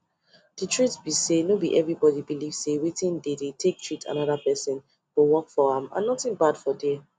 the truth be sayno be everybody belief say wetin dey take treat another person go work for am and nothing bad for there